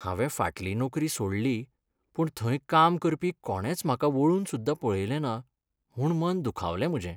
हांवें फाटलीं नोकरी सोडली, पूण थंय काम करपी कोणेंच म्हाका वळून सुद्दा पळयलें ना म्हूण मन दुखावलें म्हजें.